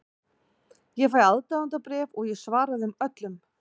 Ég fæ aðdáendabréf og ég svara þeim öllum.